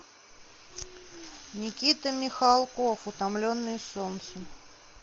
никита михалков утомленные солнцем